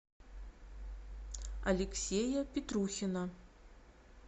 алексея петрухина